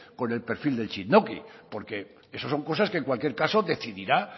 con el perfil del txindoki porque eso son cosas que en cualquier caso decidirá